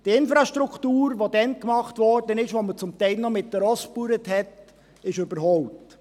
Die Infrastruktur, die damals gemacht wurde, als man zum Teil noch mit Pferden Landwirtschaft betrieb, ist überholt.